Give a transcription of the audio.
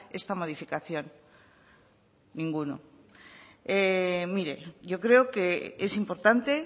esta modificación ninguno mire yo creo que es importante